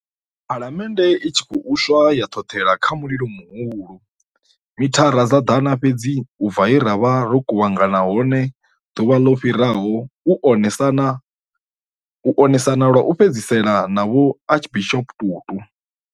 Phalamennde i tshi khou u swa ya ṱhoṱhela kha mulilo muhulu, mithara dza ḓana fhedzi u bva he ra vha ro kuvhangana hone ḓuvha ḽo fhiraho u one sana lwa u fhedzisela na Vho Archbishop Tutu.